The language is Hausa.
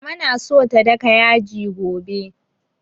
Mama na so ta daka yaji gobe